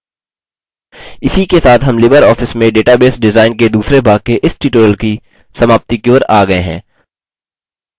इसी के साथ हम libreoffice में database डिजाइन के दूसरे भाग के इस tutorial की समाप्ति की ओर आ गये हैं